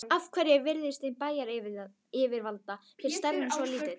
Af hverju er virðing bæjaryfirvalda fyrir starfinu svo lítil?